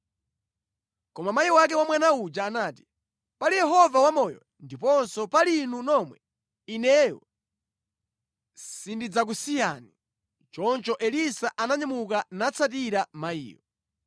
Koma mayi wake wa mwana uja anati, “Pali Yehova wamoyo ndiponso pali inu nomwe, ineyo sindidzakusiyani.” Choncho Elisa ananyamuka natsatira mayiyo.